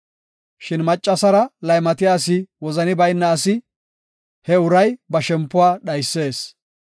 Shin maccasara laymatiya asi wozani bayna asi; he uray ba shempuwa dhaysees.